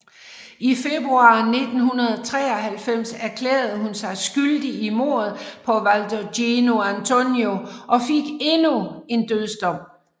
I februar 1993 erklærede hun sig skyldig i mordet på Walter Gino Antonio og fik endnu en dødsdom